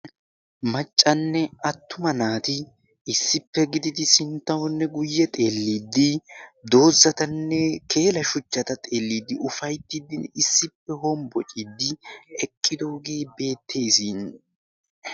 maccanne attuma naati issippe gididi sinttayonne guyye xeelliddi doozzatanne keela shuchchata xeelliiddi ufayttiddinne issippe hombbociiddi eqqidoogee beettees